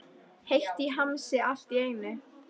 Heitt í hamsi allt í einu.